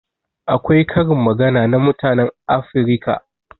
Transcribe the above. Akwai karin magana na mutanen Afirika.